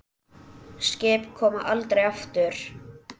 Skip koma aldrei aftur.